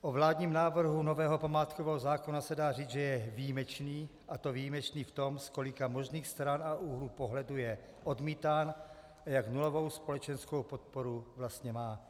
o vládním návrhu nového památkového zákona se dá říci, že je výjimečný, a to výjimečný v tom, z kolika možných stran a úhlů pohledu je odmítán a jak nulovou společenskou podporu vlastně má.